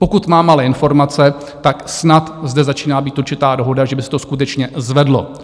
Pokud mám ale informace, tak snad zde začíná být určitá dohoda, že by se to skutečně zvedlo.